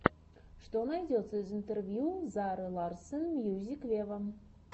что найдется из интервью зары ларсон мьюзик вево